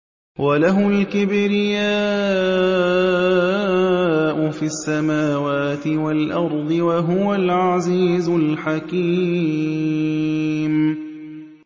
وَلَهُ الْكِبْرِيَاءُ فِي السَّمَاوَاتِ وَالْأَرْضِ ۖ وَهُوَ الْعَزِيزُ الْحَكِيمُ